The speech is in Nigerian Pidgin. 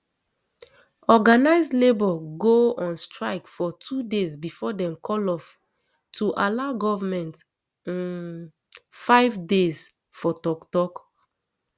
organised labour go on strike for two days before dem call off to allow goment um five days for toktok